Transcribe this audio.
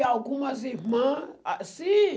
E alguma irmãs, ah, sim.